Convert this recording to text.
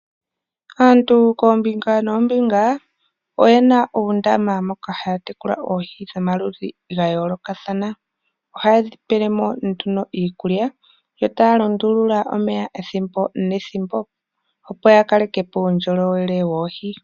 Aantu kombinga noombinga oye na uundama moka ha tekula oohi dhomaludhi gayoolokathana. Ohaye dhipelemo nduno iikulya yotaya lundulula omeya ethimbo nethimbo opo ya talelepo uundjolowele woohi.